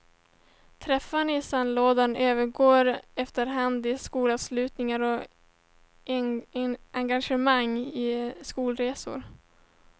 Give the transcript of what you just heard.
Träffarna i sandlådan övergår efterhand i skolavslutningar och engagemang i skolresor.